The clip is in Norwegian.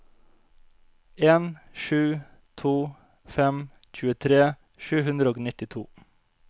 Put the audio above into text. en sju to fem tjuetre sju hundre og nittito